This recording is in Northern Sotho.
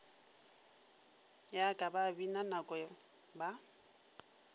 ya ka babina noko ba